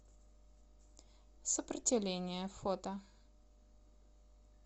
сопротивление фото